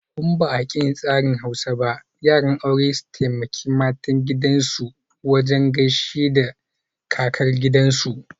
In ba'aƙin tsarin Hausa ba, yara aure su taimaka mata su gaishe ta kasar gida ga gidaresu.